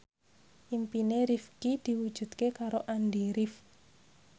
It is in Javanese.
impine Rifqi diwujudke karo Andy rif